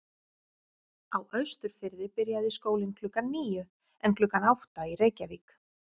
Á Austurfirði byrjaði skólinn klukkan níu en klukkan átta í Reykjavík.